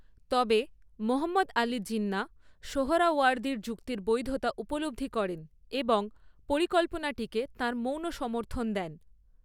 তবে, মোহাম্মদ আলী জিন্নাহ সোহরাওয়ার্দীর যুক্তির বৈধতা উপলব্ধি করেন এবং পরিকল্পনাটিকে তাঁর মৌন সমর্থন দেন।